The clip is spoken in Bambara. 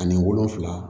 Ani wolonfila